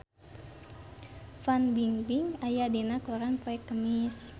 Fan Bingbing aya dina koran poe Kemis